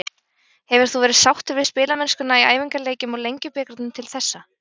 Hefur þú verið sáttur við spilamennskuna í æfingaleikjum og Lengjubikarnum til þessa?